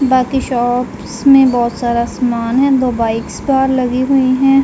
बाकी शॉप्स में बहौत सारा सामान है दो बाइक्स बाहर लगी हुई हैं।